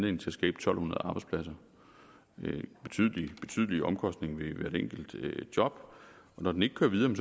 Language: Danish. en tusind to hundrede arbejdspladser med betydelige betydelige omkostninger ved hvert enkelt job når den ikke kører videre er